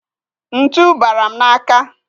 Ntu bara m n'aka.